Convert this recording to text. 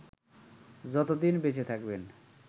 যতদিন বেঁচে থাকবেন